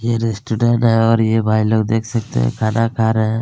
ये रेस्टोरेंट है और ये भाईलोग देख सकते है खाना खा रहै हैं।